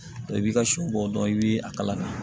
I b'i ka shɛ bɔ dɔndɔn i bɛ a kalama